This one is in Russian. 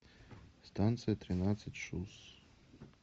станция тринадцать шус